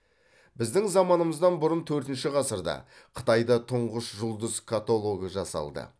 біздің заманымыздан бұрын төртінші ғасырда қытайда тұңғыш жұлдыз каталогы жасалды